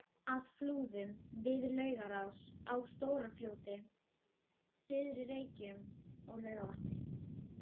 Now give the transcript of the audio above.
að Flúðum, við Laugarás, á Stóra-Fljóti, Syðri-Reykjum og Laugarvatni.